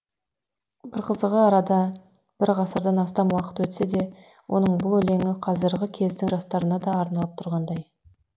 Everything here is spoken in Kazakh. бір қызығы арада бір ғасырдан астам уақыт өтсе де оның бұл өлеңі қазіргі кездің жастарына да арналып тұрғандай